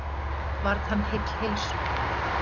Varð hann heill heilsu.